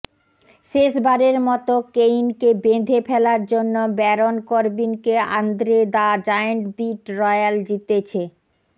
শেষবারের মতো কেইনকে বেঁধে ফেলার জন্য ব্যারন কর্বিনকে Andre the giant battle royal জিতেছে